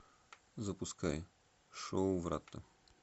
запускай шоу врата